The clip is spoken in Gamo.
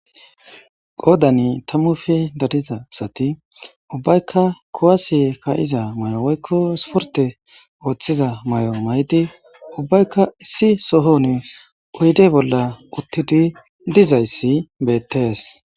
qoodani tammufi dadiza sati ubbaykka kowasi ka7iza may7o woykko suporte ooththiza may7o may7di ubbaykka issi sohon uyde bolla uttidi dizayssi bettees